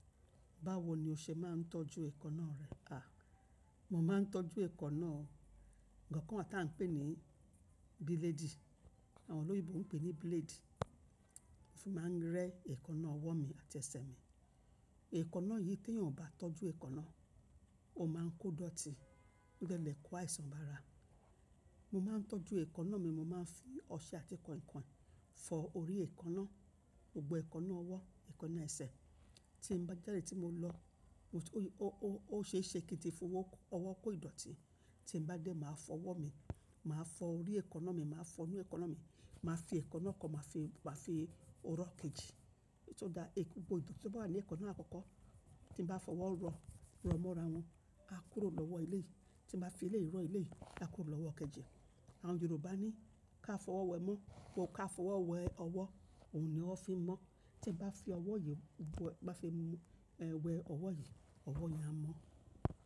Báwo ni o ṣe máa ń tọ́jú eekanna rẹ? A! Mo máa ń tọ́jú eekanna, nǹkan kan tí a ń pè ní bílédì, àwọn olóyèbo ń pè ní blade. Mo fi máa ń rẹ́ eekanna ọwọ́ mi àti ẹsẹ̀ mi. Eekanna yìí tí èèyàn ò bá tọ́jú eekanna, ó máa ń kó idọ̀tí, o de le kó àìsàn bára. Mo máa ń tọ́jú eekanna mi, mo máa ń fi ọṣẹ àti kànkàn fọ orí eekanna, gbogbo eekanna ọwọ́, eekanna ẹsẹ̀. Tí n bá jáde, tí mo lọ, ó ṣe é ṣe kí n ti fọ ọwọ́ kó ìdọ̀tí. Tí n bá dé, màá fọ ọwọ́ mi, màá fọ orí eekanna mi, màá fọ inú eekanna mi, màá fi eekanna kan, màá fi ró kejì. To da eku gbodo ìdọ̀tí tí ó bá wà ní eekanna àkọ́kọ́ tí mo bá fọwọ́ rọ, rọ mọ́ra wọn, a kúrò lọ́wọ́ eleyìí. Tí n bá fi eleyìí rọ eleyii, a kúrò lọ́wọ́ kejì ẹ. Àwọn Yorùbá ní ká fọwọ́ wẹ mọ́, ká fọwọ́ wẹ ọwọ́, òun ni ọwọ fi ń mọ́. Tí mo bá fi ọwọ́ yìí, bá fi wẹ ọwọ́ yìí, ọwọ́ yẹn a mọ̀.